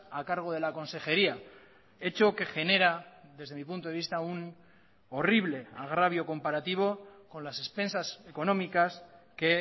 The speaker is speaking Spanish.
a cargo de la consejería hecho que genera desde mi punto de vista un horrible agravio comparativo con las expensas económicas que